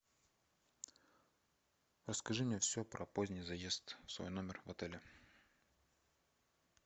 расскажи мне все про поздний заезд в свой номер в отеле